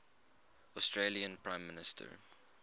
australian prime minister